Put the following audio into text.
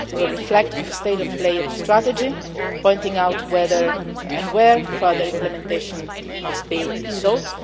basis. It will reflect on the state of play of the strategy, pointing out whether and where further implementation must be sought.